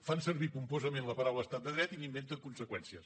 fan servir pomposament la paraula estat de dret i n’inventen conseqüències